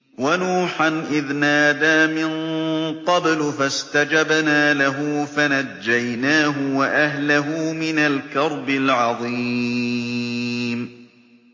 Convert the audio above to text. وَنُوحًا إِذْ نَادَىٰ مِن قَبْلُ فَاسْتَجَبْنَا لَهُ فَنَجَّيْنَاهُ وَأَهْلَهُ مِنَ الْكَرْبِ الْعَظِيمِ